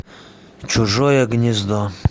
чужое гнездо